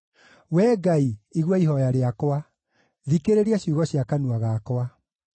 Wee Ngai, igua ihooya rĩakwa; thikĩrĩria ciugo cia kanua gakwa.